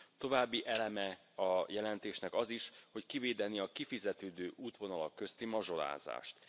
További eleme a jelentésnek az is, hogy kivédeni a kifizetődő útvonalak közti mazsolázást.